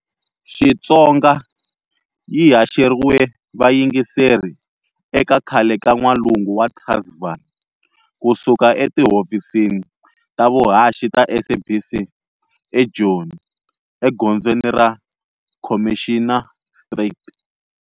Xitsonga yi haxeriwe vayingiseri eka khale ka N'walungu wa Transvaal, ku suka etihovhisini ta vuhaxi ta SABC e Joni, e gonzweni ra, Commissioner Street.